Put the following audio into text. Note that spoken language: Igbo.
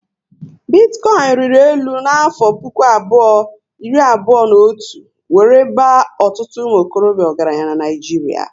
Bitikoinu riri élu na afo puku abụọ iri abụọ na otu wéré baa ọtụtụ umuokorobia ọgaranya n'Naijiria